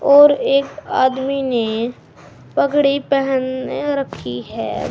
और एक आदमी ने पगड़ी पहने रखी है।